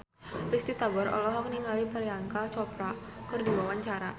Risty Tagor olohok ningali Priyanka Chopra keur diwawancara